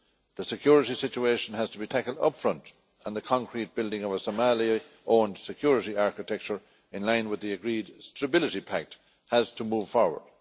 The security situation has to be tackled up front, and the concrete building of a Somali owned security architecture in line with the agreed stability pact has to move forward.